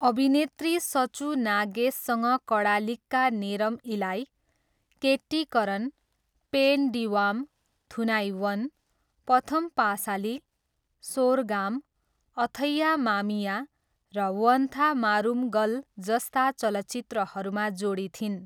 अभिनेत्री सचू नागेससँग कडालिक्का नेरम इलाई, केट्टिकरन, पेन डिवाम, थुनाइवन, पथम पासाली, सोरगाम, अथैया मामिया, र वन्धा मारुमगल जस्ता चलचित्रहरूमा जोडी थिइन्।